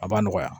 A b'a nɔgɔya